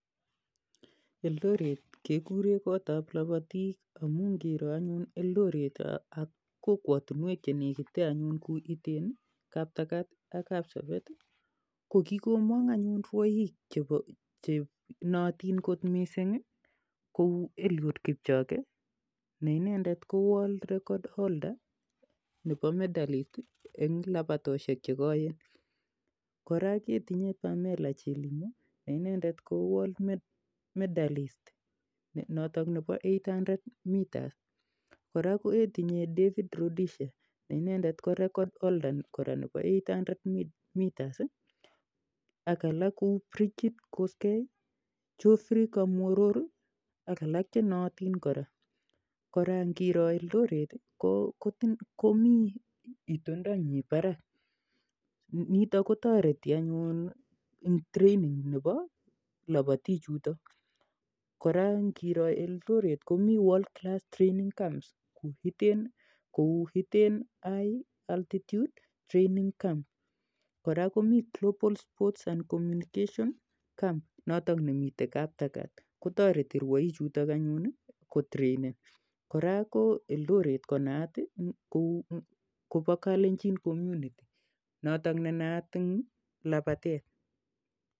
Eldoret, kekure kot ap lapatiika amun ngiro anyun Eldoret ak kokwatushek che nekite anyun che u Iten i, Kaptagat ak Kapsabet ko kikomang' anyun rwaiik che naaitin kot missing' kou Eliud Kipchoge , ne inendet ko Workd Record holder nepa medalist eng' lapatoshek che koeen. Kora ketinye Pamela Chelimo, ne inendet ko world medalist notok nepo eight hundred metres . Kora ketinye David Rudisha , ne ine ko record holder nepo eight hundred metres ak alak kou Brigid Kosgei i, Geoffrey Kamworor i ak alak che naatin kora. Kora ngiro Eldoret i, komi itondanyi parak nitok kotareti anyun eng' training nepo lapatichutok. Kora ngiro Eldoret komi world training camps che u Iten High Altitude Training Camp. Kora komi Global Sports (and Comunication Camp notok nemitei Kaptagat, kotareti rwaichutok anyun kotreinen. Kora kole Eldoret ko naat kopa Kalenjin Community notok ne naat eng' lapatet.